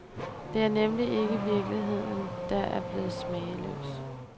Det er nemlig ikke virkeligheden, der er blevet smagløs.